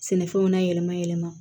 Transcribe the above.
Sɛnɛfɛnw na yɛlɛma yɛlɛma